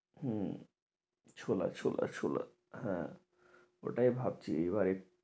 হম ছোলা ছোলা ছোলা হ্যাঁ ওইটাই ভাবছি এইবার